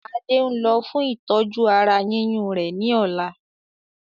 Adé ń lọ fún ìtọ́jú ara yíyún rẹ ni ọ̀la